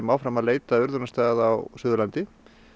áfram að leita að urðunarstað á Suðurlandi